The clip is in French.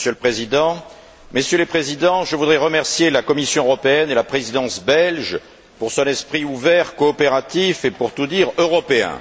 Monsieur le Président, Messieurs les présidents, je voudrais remercier la Commission européenne et la Présidence belge pour son esprit ouvert, coopératif et, pour tout dire, européen.